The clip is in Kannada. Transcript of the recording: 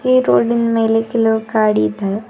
ಈ ರೋಡಿನ್ ಮೇಲೆ ಕೆಲವು ಗಾಡಿ ಇದ್ದಾವೆ.